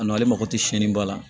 A nɔ ale mako tɛ siyɛnniba la